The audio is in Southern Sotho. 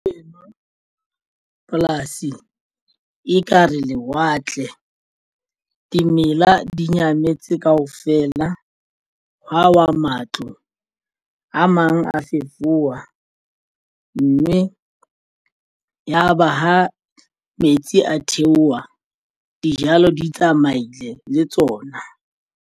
Eno polasi ekare lewatle dimela di nyametse kaofela hwa wa matlo a mang a fefowa mme yaba ha metsi a theoha dijalo di tsamaile le tsona.